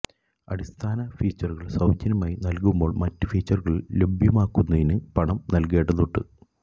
അടിസ്ഥാന ഫീച്ചറുകൾ സൌജന്യമായി നൽകുമ്പോൾ മറ്റ് ഫീച്ചറുകൾ ലഭ്യമാക്കുന്നതിന് പണം നൽകേണ്ടതുണ്ട്